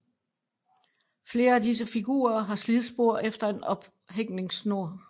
Flere af disse figurer har slidspor efter en ophængningssnor